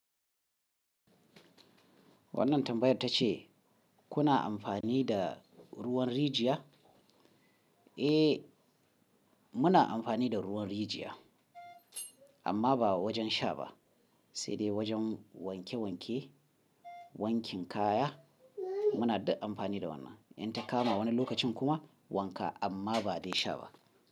Wannan tambayar ta ce kuna amfani da ruwan rijiya? Eh muna amfani da ruwan rijiya amma ba wajen sha ba sai dai wajen wanke wanke wankin kaya muna duk amfani da wannan in ta kama wani lokacin kuma wanka amma ba dai sha ba.